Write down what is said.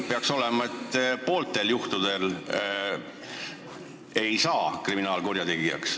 Peaks ju olema nii, et pooltel juhtudel ei saa inimesest kriminaalkurjategijat.